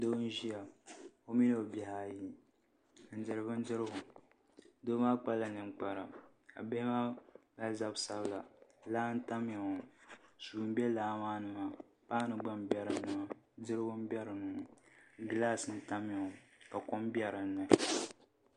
Doo n ʒiya o mini o bihi ayi n diri bindirigu doo maa kpala ninkpara ka bihi maa mali zabi sabila laa n tamya ŋo suu n bɛ laa maa ni maa paanu gba n bɛ dinni maa dirigu n bɛ dinni ŋo gilas n tamya ŋo ka kom bɛ dinni